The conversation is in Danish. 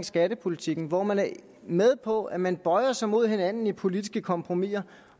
skattepolitikken hvor man er med på at man bøjer sig mod hinanden i politiske kompromiser